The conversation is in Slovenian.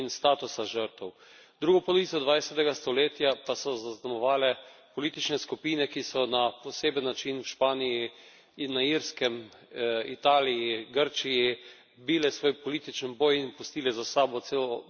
Drugo polovico dvajsetega stoletja pa so zaznamovale politične skupine, ki so na poseben način v Španiji in na Irskem, Italiji, Grčiji bile svoj politični boj in pustile za sabo celo množico žrtev.